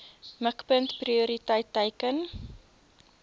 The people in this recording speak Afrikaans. mikpunt prioriteit teiken